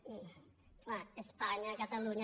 clar espanya catalunya